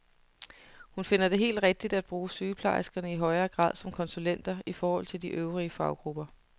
Hun finder det helt rigtigt at bruge sygeplejerskerne i højere grad som konsulenter i forhold til de øvrige faggrupper.